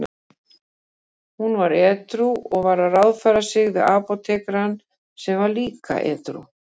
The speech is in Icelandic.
Hún var edrú og var að ráðfæra sig við apótekarann sem var líka edrú.